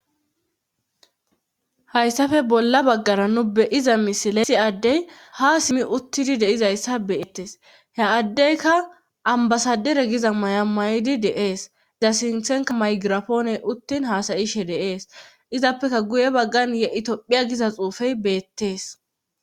Hayssafe bolla baggara nu beyiza misilesi addey ha simmi uttidi deizayssa beettes he addeyka ambasadere giza may'a may'idi deees da sinthenka maygirapooney uttin haasayishe deees izappeka guye baggan ye'i tophiya giza xuufey beettees.